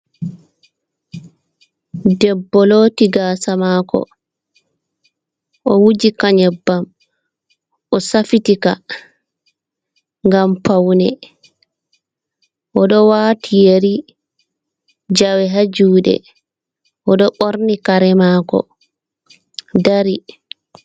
Debbo looti gaasa maako ,o wuji ka nyebbam, o safitika ngam pawne o ɗo waati yeri, jawe haa juuɗee, o ɗo ɓorni kare maako dari.